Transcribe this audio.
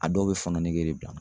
A dɔw bɛ fɔɔnɔ nege de bila n na.